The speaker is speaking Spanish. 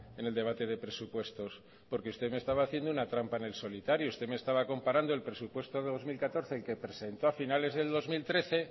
en el debate de presupuestos porque usted me estaba haciendo una trampa en el solitario usted me estaba comparando el presupuesto de dos mil catorce el que presentó a finales del dos mil trece